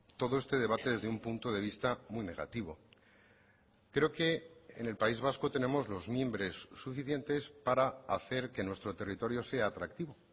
todo este debate desde un punto de vista muy negativo creo que en el país vasco tenemos los mimbres suficientes para hacer que nuestro territorio sea atractivo